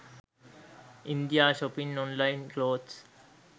india shopping online clothes